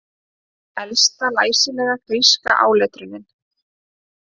Elsta læsilega gríska áletrunin